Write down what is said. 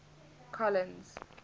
collins